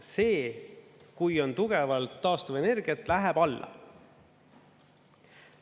See, kui on tugevalt taastuvenergiat, läheb alla.